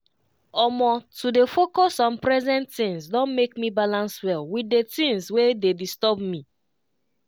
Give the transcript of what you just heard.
omo to dey focus on present things don make me balance well with the things wey dey disturb me.